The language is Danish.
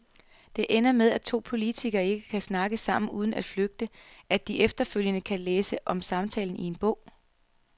Det ender med, at to politikere ikke kan snakke sammen uden at frygte, at de efterfølgende kan læse om samtalen i en bog.